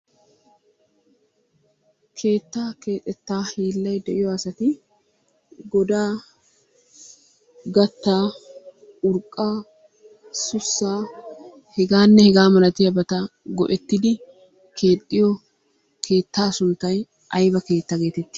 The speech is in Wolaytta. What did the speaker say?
Keettaa keexxettaa hiillay de'yo asati godaa, gattaa, urqqaa, sussaa hegaanne hegaa malatiyaba go"ettidi keexxiyo keettaa sunttay ayba keetta geetetti?